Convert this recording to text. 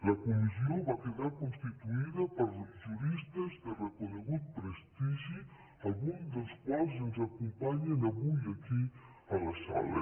la comissió va quedar constituïda per juristes de reconegut prestigi alguns dels quals ens acompanyen avui aquí a la sala